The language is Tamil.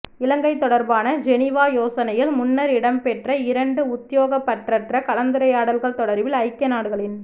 இலங்கை தொடர்பான ஜெனீவா யோசனையின் முன்னர் இடம்பெற்ற இரண்டு உத்தியோகபற்றற்ற கலந்துரையாடல்கள் தொடர்பில் ஐக்கிய நாடுகளின்